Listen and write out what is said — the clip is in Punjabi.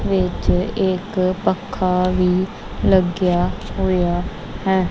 ਵਿਚ ਇਕ ਪੱਖਾ ਵੀ ਲੱਗਿਆ ਹੋਇਆ ਹੈ।